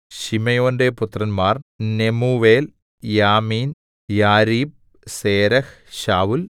ശിമെയോന്റെ പുത്രന്മാർ Nemuel Jamin Jarib Zerah ശൌല്‍